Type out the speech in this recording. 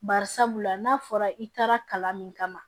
Bari sabula n'a fɔra i taara kalan min kama